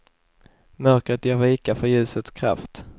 Mörkret ger vika för ljusets kraft.